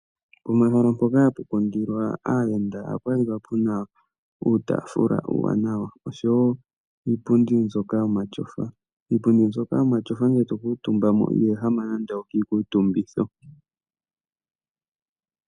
Pehala mpoka hapu kundilwa aayenda ,ohapu kala pena uutafula uuwanawa osho woo iipundi mbyoka yo ma shofa. Iipundi mbyoka yo ma shofa ndele to kuutumba mo ,iho ehama nando okiikuutumbitho .